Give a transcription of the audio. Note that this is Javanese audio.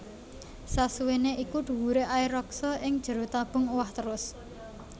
Sasuwèné iku dhuwuré air raksa ing jero tabung owah trus